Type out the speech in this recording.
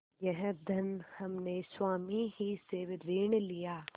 यह धन हमने स्वामी ही से ऋण लिया